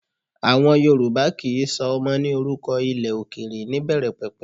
Àwọn Yorùbá kì í sọ ọmọ ní orúkọ ilẹ̀ òkèrè níbẹ̀rẹ̀pẹ̀pẹ̀